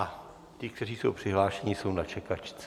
A ti, kteří jsou přihlášeni, jsou na čekačce.